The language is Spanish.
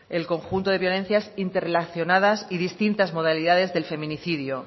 el conjunto de violencias interrelacionadas y distintas modalidades del feminicidio